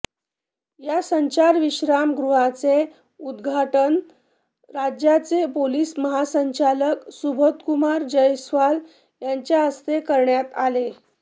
या संचार विश्रामगृहाचे उद्घाटन राज्याचे पोलीस महासंचालक सुबोधकुमार जयस्वाल यांच्या हस्ते करण्यात आले़